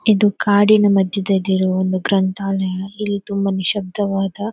ಇದು ಕಾಡಿನ ಮಧ್ಯೆದಲ್ಲಿರುವ ಒಂದು ಗ್ರಂಥಾಲಯ ಇಲ್ಲಿ ತುಂಬ ನಿಶ್ಯಬ್ಧವಾದ--